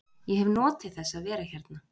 Ég hef notið þess að vera hérna.